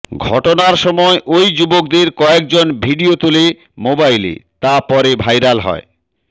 ঘটনার সময় ওই যুবকদের কয়েকজন ভিডিও তোলে মোবাইলে তা পরে ভাইরাল হয়